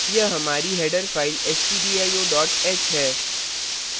यह हमारी header file stdio h है